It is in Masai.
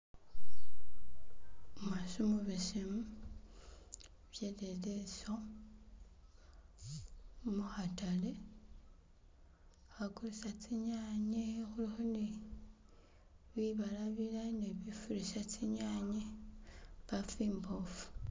Umukhasi umubesemu pededeso mukhatale khagulisa tsi nyanye bibala bala ne khufurisa tsinyanye baafu imbofu.